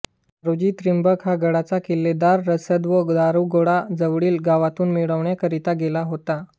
नारोजी त्रिंबक हा गडाचा किल्लेदार रसद व दारुगोळा जवळील गावातून मिळविण्याकरिता गेला होता